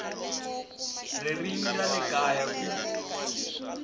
ririmi ra le kaya ku